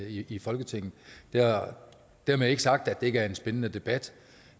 i i folketinget dermed ikke sagt at det ikke er en spændende debat